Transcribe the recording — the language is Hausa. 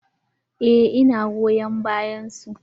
Eh ina goyon bayan su.